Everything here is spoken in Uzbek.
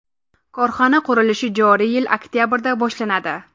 Korxona qurilishi joriy yil oktabrda boshlanadi.